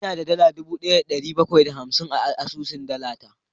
Ina da dala dubu daya da dari bakwai da hamsin a asusun dala ta